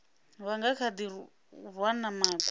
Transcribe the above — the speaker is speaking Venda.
vha nga kha ḓirwana makhwa